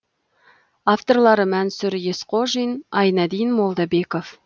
авторлары мансұр есқодин айнадин молдабеков